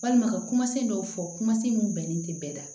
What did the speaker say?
Walima ka kumasen dɔw fɔ kuma se mun bɛnnen tɛ bɛɛ la